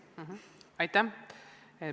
Aitäh!